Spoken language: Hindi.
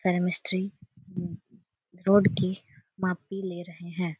सारे मिस्त्री रोड की मापी ले रहें हैं।